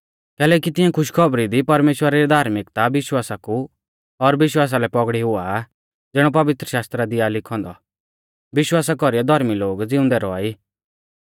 कैलैकि तिऐं खुशखौबरी दी परमेश्‍वरा री धार्मिकता विश्वासा कु और विश्वासा लै पौगड़ी हुआ आ ज़िणौ पवित्रशास्त्रा दी आ लिखौ औन्दौ विश्वासा कौरीऐ धौर्मी लोग ज़िउंदै रौआ ई